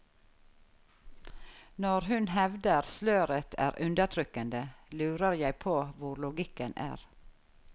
Når hun hevder sløret er undertrykkende, lurer jeg på hvor logikken er.